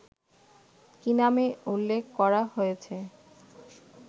কি নামে উল্লেখ করা হয়েছে